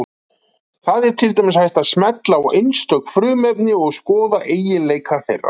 Þar er til dæmis hægt að smella á einstök frumefni og skoða eiginleika þeirra.